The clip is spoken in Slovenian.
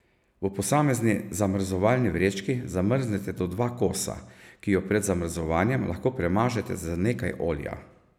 V posamezni zamrzovalni vrečki zamrznite do dva kosa, ki ju pred zamrzovanjem lahko premažete z nekaj olja.